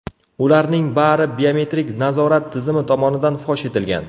Ularning bari biometrik nazorat tizimi tomonidan fosh etilgan.